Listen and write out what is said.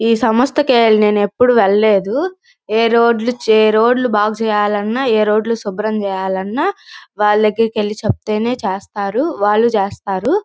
ఈ సంస్థ కి నేను ఎప్పుడు వెళ్ళలేదు ఏ రోడ్ లు చెయ్ ఏ రోడ్ బాగు చెయ్యాలన్న ఏ రోడ్ లు శుభ్రం చెయ్యాలన్న వాళ్ళకి వెళ్లి చెప్తేనే చేస్తారు వాళ్ళు చేస్తారు.